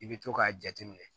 I bɛ to k'a jateminɛ